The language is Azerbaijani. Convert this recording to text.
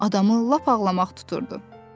Adamı lap ağlamaq tuturdu.